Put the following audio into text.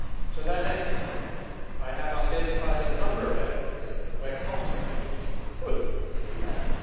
To that end, I have identified a number of areas where cost savings could be made.